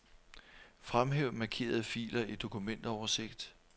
Fremhæv markerede filer i dokumentoversigt.